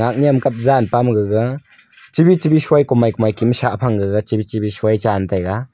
nem kap jan pa ma gaga chi bit chi bit soi komai komai kem sah phang gaga chibi chini soi tan taiga.